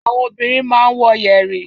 Àwọn obìnrin máa ń wọ yẹ̀rì.